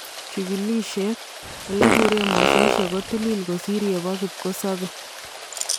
Chikilisheet: Olebureen mososhek ko tiliil kosiir yepo kipkosobee